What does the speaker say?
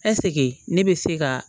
ne bɛ se ka